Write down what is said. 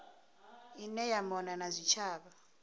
ine ya mona na zwitshavha